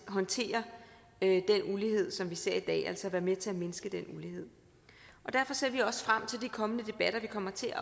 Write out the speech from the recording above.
håndtere den ulighed som vi ser i dag altså kan være med til at mindske den ulighed derfor ser vi også frem til de kommende debatter vi kommer til at